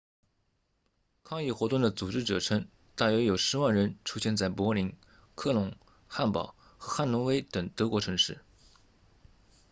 抗议活动的组织者称大约有10万人出现在柏林科隆汉堡和汉诺威等德国城市